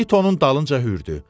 İt onun dalınca hürdü.